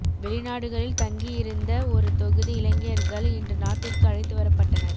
வெளி நாடுகளில் தங்கி இருந்த ஒரு தொகுதி இலங்கையர்கள் இன்று நாட்டிற்கு அழைத்து வரப்பட்டனர்